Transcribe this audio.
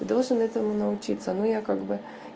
должен этому научиться но я как бы